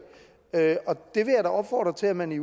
da opfordre til at man i